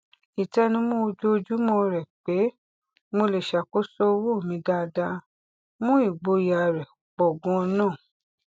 ìtẹnumọ ojoojúmọ rẹ pé mo lè ṣàkóso owó mi dáadáa mú ìgboyà rẹ pọ ganan